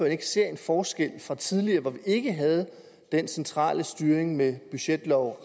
ikke ser en forskel fra tidligere hvor vi ikke havde den centrale styring med budgetlov